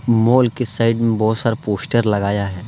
Mall के side में बहुत सारा पोस्टर लगाया है।